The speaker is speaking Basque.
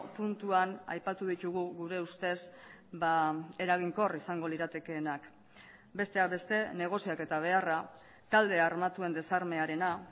puntuan aipatu ditugu gure ustez eraginkor izango liratekeenak besteak beste negoziaketa beharra talde armatuen desarmearena